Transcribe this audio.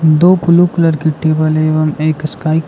दो blue colour की table एवं एक स्काई --